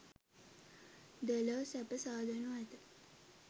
දෙලොව සැප සාදනු ඇත.